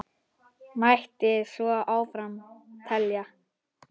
Mætti svo áfram telja.